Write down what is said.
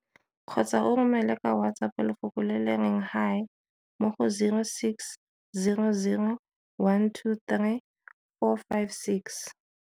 Kgotsa o romele ka WhatsApp lefoko le le reng Hi mo go 0600 123 456.